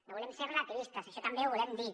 no volem ser relativistes això també ho volem dir